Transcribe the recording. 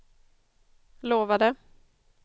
lovade